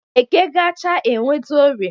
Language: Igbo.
Eke gachaa enweta orie